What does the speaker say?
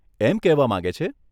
એમ કહેવા માંગે છે?